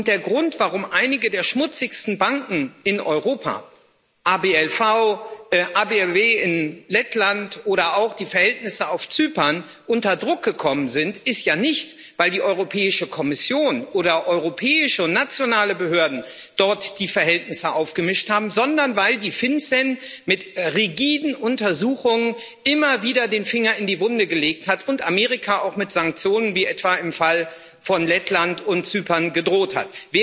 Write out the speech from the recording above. Der Grund, warum einige der schmutzigsten Banken in Europa ABLV in Lettland oder auch die Verhältnisse auf Zypern unter Druck gekommen sind, ist ja nicht, weil die Europäische Kommission oder europäische und nationale Behörden dort die Verhältnisse aufgemischt haben, sondern weil die FinCEN mit rigiden Untersuchungen immer wieder den Finger in die Wunde gelegt hat und Amerika auch mit Sanktionen, wie etwa im Fall von Lettland und Zypern, gedroht hat.